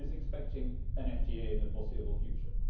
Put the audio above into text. No one is expecting an FTA in the foreseeable future.